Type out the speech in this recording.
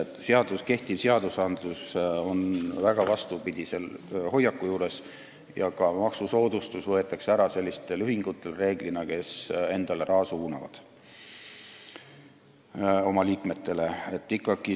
Nii et kehtivates seadustes on vastupidine hoiak ja reeglina võetakse sellistelt ühingutelt, kes endale, oma liikmetele, raha suunavad, ka maksusoodustus ära.